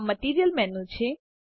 આ material menu છે